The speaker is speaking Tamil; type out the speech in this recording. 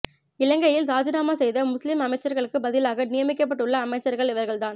இலங்கையில் ராஜிநாமா செய்த முஸ்லிம் அமைச்சர்களுக்கு பதிலாக நியமிக்கப்பட்டுள்ள அமைச்சர்கள் இவர்கள்தான்